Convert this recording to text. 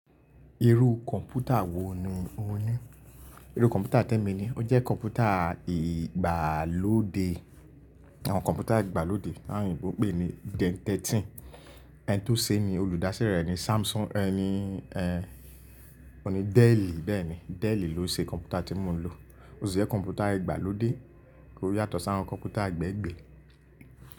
Irú kọ̀npútà wò ní ò ní? Irú kọ̀mpútà tẹ mi ni, ó jẹ́ kọ̀mpútà ìgbàlódé. Àwọn kọ̀mpútà ìgbàlódé tawon oyinbó pè ní Gen 13. Ẹni tó ṣe ni, olùdásílẹ̀ rẹ̀ ni Samsung, ẹni, ẹ́, òun ni Dell bẹ́ẹ̀ ni. Dell ló ṣe kọ̀mpútà tí mò ń lò. Ó sì jẹ́ kọ̀mpútà ìgbàlódé, kì ó yàtọ̀ sí àwọn kọ̀mpútà gbẹ́gbẹ̀ẹ́.